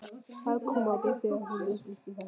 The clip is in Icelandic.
Það kom á mig þegar hún upplýsti þetta.